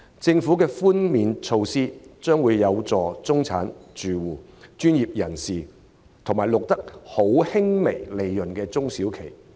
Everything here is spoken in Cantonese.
政府的稅務寬免措施的確有助中產住戶、專業人士和錄得微利的中小企。